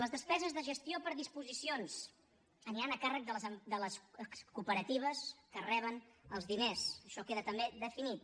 les despeses de gestió per disposicions aniran a càrrec de les cooperatives que reben els diners això queda també definit